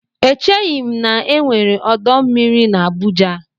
Echeghi m na-enwere ọdọ mmiri na Abuja.